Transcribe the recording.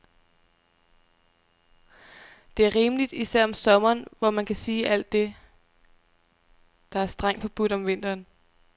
Det er rimeligt, især om sommeren, hvor man kan sige alt det, der er strengt forbudt om vinteren.